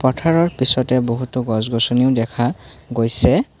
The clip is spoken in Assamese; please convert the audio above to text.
পথাৰৰ পিছতে বহুতো গছ গছনিও দেখা গৈছে।